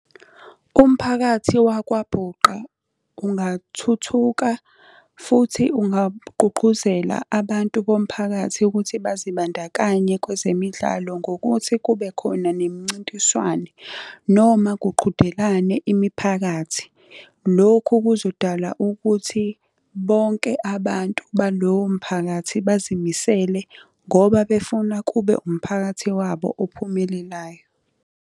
Umphakathi wakwaBhuqa, ungathuthuka, futhi ungagqugquzela abantu bomphakathi ukuthi bazibandakanye kwezemidlalo ngokuthi kube khona nemincintiswano noma kuqhudelane imiphakathi. Lokhu kuzodala ukuthi bonke abantu balowo mphakathi bazimisele, ngoba befuna kube umphakathi wabo ophumelelayo.